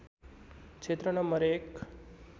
क्षेत्र नम्बर १